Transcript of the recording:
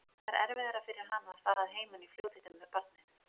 Það er erfiðara fyrir hana að fara að heiman í fljótheitum með barnið.